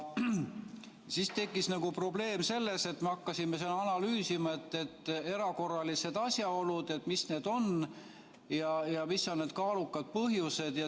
Siis tekkis probleem, me hakkasime analüüsima, et mis need erakorralised asjaolud on ja mis on need kaalukad põhjused.